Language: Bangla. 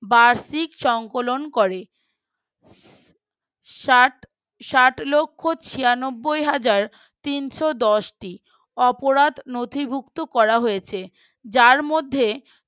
বার্ষিক সংকলন করে। ষাট ষাট লক্ষ ছিয়ানব্বয় হাজার তিন্শ দশ টি অপরাধ নথিভুক্ত করা হয়েছে যার মধ্যে